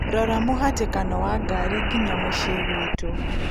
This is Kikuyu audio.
rora mũhatĩkano wa ngari nginya mũciĩ gwiĩtũ